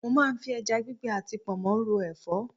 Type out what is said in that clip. Mo máa ń fi ẹja gbígbẹ àti pọnmó ro Ẹ̀fọ́.